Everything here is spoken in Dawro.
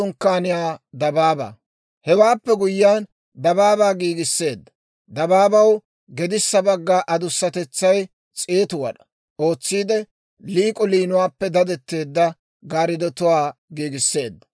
Hewaappe guyyiyaan dabaabaa giigisseedda. Dabaabaw gedissa bagga adussatetsaw s'eetu wad'aa ootsiide, liik'o liinuwaappe daddetteedda gaariddotuwaa giigisseedda.